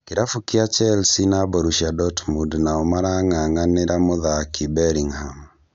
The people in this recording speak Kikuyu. Kĩrabu kĩa Chelsea na Borussia Dortmund nao marang'an'anĩra mũthaki Bellingham